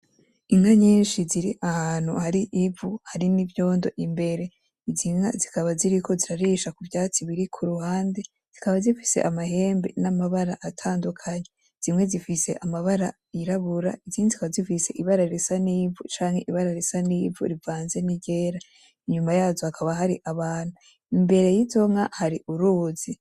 Inka nyinshi zir'ahantu har'ivu harimw'ivyondo imbere, izi nka zikaba ziriko zirarisha ku vyatsi biri ku ruhande, zikaba zifise amahembe n'amabara atandukanye, zimwe zifise amabara yirabura izindi zikaba zifise ibara risa n'ivu canke ibara ibara risa n'ivu rivanze ni ryer,a inyuma yazo hakaba har'abantu, mbere yizo nka har'uruzi.